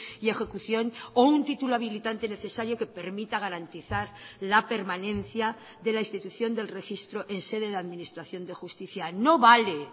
y ejecución o un título habilitante necesario que permita garantizar la permanencia de la institución del registro en sede de administración de justicia no vale